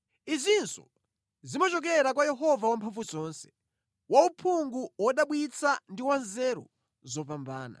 Izinso zimachokera kwa Yehova Wamphamvuzonse, wa uphungu wodabwitsa ndi wa nzeru zopambana.